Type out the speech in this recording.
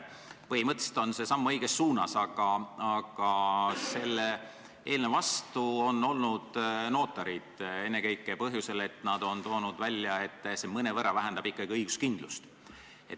Põhimõtteliselt on see samm õiges suunas, aga selle eelnõu vastu on olnud notarid, ennekõike põhjusel, et nad on toonud välja, et see mõnevõrra ikkagi vähendab õiguskindlust.